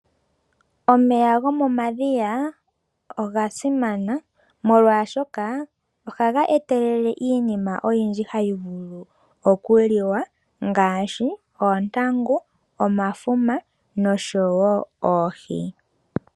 Omeya gomomadhiya oga simana molwaashoka ohaga etelele iinima oyindji hayi vulu oku liwa. Ngaashi oontangu, omafuma noshowo oohi.